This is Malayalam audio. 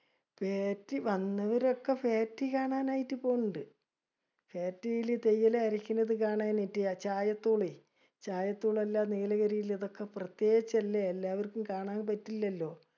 വന്നവരൊക്കെ factory കാണാനായിട്ട് പൊന്നിൻഡ്. Factory ല് തേയില അരക്കണത് കാണാനായിട്ട് ചായ . ചായ നീലഗിരിയിൽ പ്രത്യേച്ചല്ലേ. എല്ലാവർക്കും കാണാൻ പറ്റില്ലലോ.